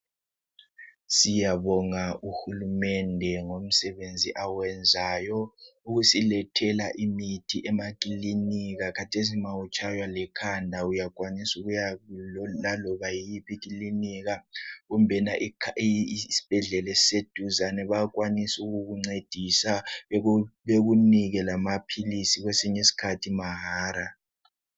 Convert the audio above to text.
Siyabonga uhulumende ngomsebenzi awenzayo. Ukusilethela imithi emakilinika .Khathesi ma utshaywa likhanda uyakwanisa ukuya laloba yiphi ikilinika kumbe isibhedlela esiseduzane .Bayakwanisa ukukuncedisa bekunike lamaphilisi kwesinye iskhathi mahara .